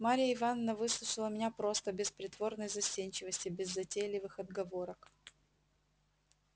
марья ивановна выслушала меня просто без притворной застенчивости без затейливых отговорок